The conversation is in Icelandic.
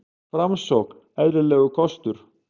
Framsókn eðlilegur kostur